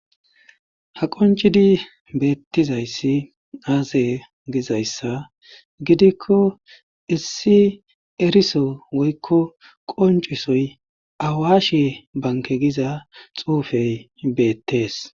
Ha qoncidi beettizayssi aaze gizayssa gidikko issi eriso woykko qoncisoy awashe banke giza xuufey beettees